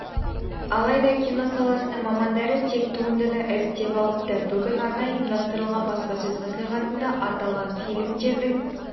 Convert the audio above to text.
алайда кино саласының мамандары тек туындыны іріктеп алыпты бүгін арнайы ұйымдастырылған баспасөз мәслихатында аталған филімдердің